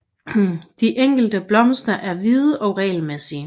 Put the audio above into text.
De enkelte blomster er hvide og regelmæssige